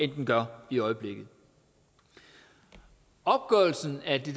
den bliver i øjeblikket opgørelsen af det